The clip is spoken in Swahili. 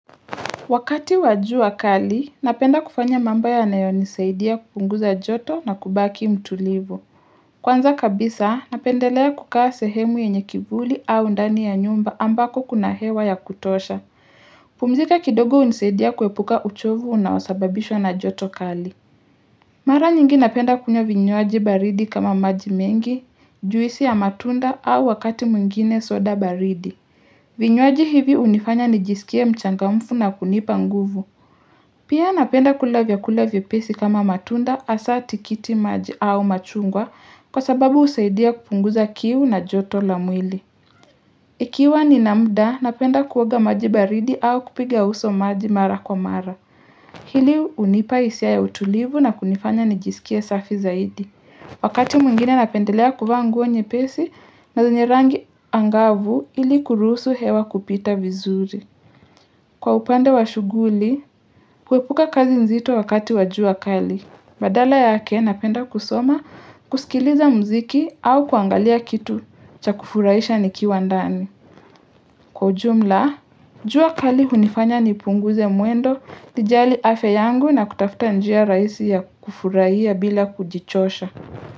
Wakati wa jua kali, napenda kufanya mambo yanayo nisaidia kupunguza joto na kubaki mtulivu. Kwanza kabisa, napendelea kukaa sehemu yenye kivuli au ndani ya nyumba ambako kuna hewa ya kutosha. Kupumzika kidogo hunisaidia kuepuka uchovu unaosababishwa na joto kali. Mara nyingi napenda kunywa vinywaji baridi kama maji mengi, juisi ya matunda au wakati mwingine soda baridi. Vinyolwaji hivi hunifanya nijisikie mchangamfu na kunipa nguvu. Pia napenda kula vyakula vyepesi kama matunda hasa tikiti maji au machungwa kwa sababu husaidia kupunguza kiu na joto la mwili. Ikiwa nina muda napenda kuoga maji baridi au kupiga uso maji mara kwa mara. Hili hunipa hisia ya utulivu na kunifanya nijisikie safi zaidi. Wakati mwingine napendelea kuvaa nguo nyepesi na zenye rangi angavu ili kuruhusu hewa kupita vizuri. Kwa upande wa shughuli, kuepuka kazi nzito wakati wa jua kali. Badala yake napenda kusoma, kusikiliza mziki au kuangalia kitu cha kufurahisha nikiwa ndani. Kwa ujumla, jua kali hunifanya nipunguze mwendo, nijali afya yangu na kutafta njia rahisi ya kufurahia bila kujichosha.